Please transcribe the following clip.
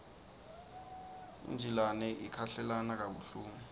injilane ikhahlelana kabuhlungu